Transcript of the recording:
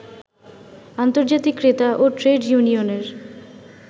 আন্তর্জাতিক ক্রেতা ও ট্রেড ইউনিয়নের